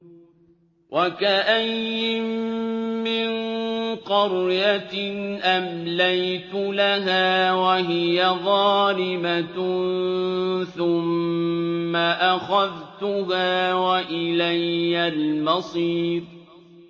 وَكَأَيِّن مِّن قَرْيَةٍ أَمْلَيْتُ لَهَا وَهِيَ ظَالِمَةٌ ثُمَّ أَخَذْتُهَا وَإِلَيَّ الْمَصِيرُ